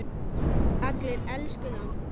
Allir elskuðu hann.